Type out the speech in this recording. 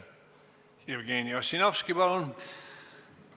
Jevgeni Ossinovski, palun!